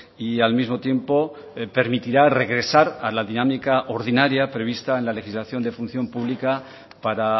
y al mismo tiempo permitirá regresar a la dinámica ordinaria prevista en la legislación de función pública para